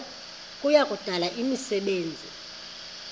kuya kudala imisebenzi